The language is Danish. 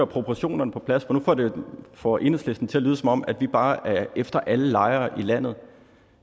proportionerne på plads for nu får enhedslisten det til at lyde som om vi bare er efter alle lejere i landet